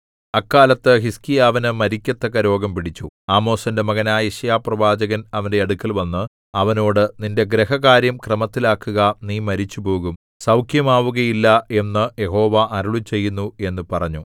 അക്കാലത്ത് ഹിസ്കീയാവിനു മരിക്കത്തക്ക രോഗം പിടിച്ചു ആമോസിന്റെ മകനായ യെശയ്യാപ്രവാചകൻ അവന്റെ അടുക്കൽവന്ന് അവനോട് നിന്റെ ഗൃഹകാര്യം ക്രമത്തിലാക്കുക നീ മരിച്ചുപോകും സൗഖ്യമാവുകയില്ല എന്നു യഹോവ അരുളിച്ചെയ്യുന്നു എന്നു പറഞ്ഞു